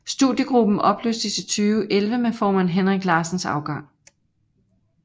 Studiegruppen opløstes i 2011 med formand Henrik Larsens afgang